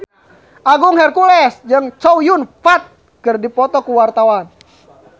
Agung Hercules jeung Chow Yun Fat keur dipoto ku wartawan